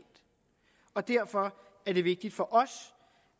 og derfor er det vigtigt for os